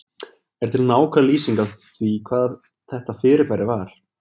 Er til nákvæm lýsing á því hvað þetta fyrirbæri var?